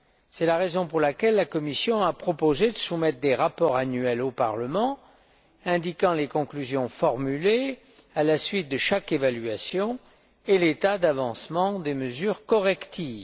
C'est la raison pour laquelle la Commission a proposé de soumettre des rapports annuels au Parlement indiquant les conclusions formulées à la suite de chaque évaluation et l'état d'avancement des mesures correctives.